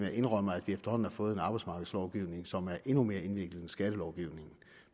jeg indrømmer at vi efterhånden har fået en arbejdsmarkedslovgivning som er endnu mere indviklet end skattelovgivningen